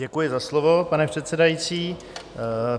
Děkuji za slovo, pane předsedající.